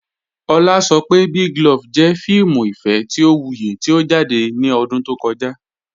Ọ̀lá sọ̀ pé Big Love jẹ̀ fíìmù ìfẹ̀ tí ó wúyì tí ó jáde ní ọ̀dún tó kọ̀jà.